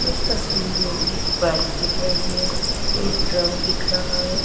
इस तस्वीर में एक बाइक दिख रही है एक ड्रम दिख रहा है।